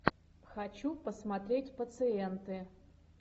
хочу посмотреть пациенты